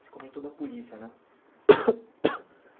Você comentou da polícia, né?